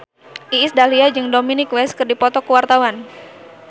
Iis Dahlia jeung Dominic West keur dipoto ku wartawan